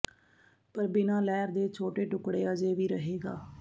ਪਰ ਬਿਨਾ ਲਹਿਰ ਦੇ ਛੋਟੇ ਟੁਕੜੇ ਅਜੇ ਵੀ ਰਹੇਗਾ